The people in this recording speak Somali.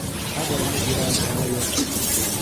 Hadal ma jiraan hooyo.